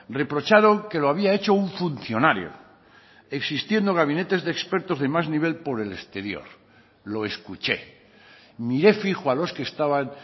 reprocharon que lo había hecho un funcionario existiendo gabinetes de expertos de más nivel por el exterior lo escuché miré fijo a los que estaban